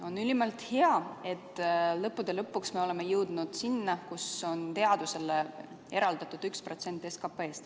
On ülimalt hea, et lõppude lõpuks me oleme jõudnud sinna, kus teadusele on eraldatud 1% SKP-st.